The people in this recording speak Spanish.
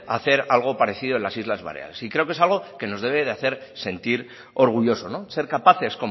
hacer algo parecido en las islas baleares y creo que es algo que nos debe hacer sentir orgullosos ser capaces